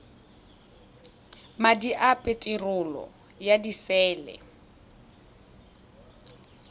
madi a peterolo ya disele